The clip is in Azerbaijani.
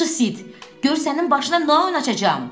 Gör sənin başına nə oyun açacam!